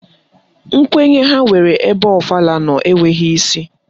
Nkwenye ha nwere ebe ọfala nọ enweghị isi